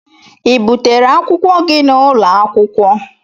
Ị butere akwụkwọ gị n'ụlọ akwụkwọ?